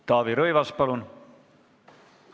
Taavi Rõivas, palun!